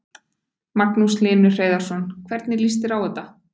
Magnús Hlynur Hreiðarsson: Hvernig líst þér á þetta?